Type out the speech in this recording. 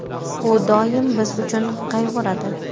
U doimo biz uchun qayg‘uradi.